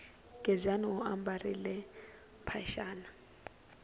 gezani u ambarile mphaxani